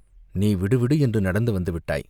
நீ விடுவிடு என்று நடந்து வந்துவிட்டாய்!